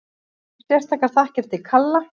Sérstakar þakkir til Kalla